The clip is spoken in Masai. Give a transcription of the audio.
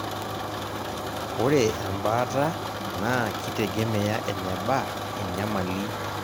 ore ebaata naa kitegemea eneba enyamali